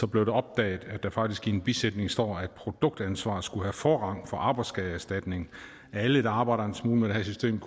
blev opdaget at der faktisk i en bisætning stod at produktansvar skulle have forrang for arbejdsskadeerstatning alle der arbejder en smule med det her system